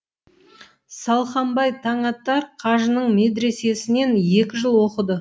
салқамбай таңатар қажының медресесінен екі жыл оқыды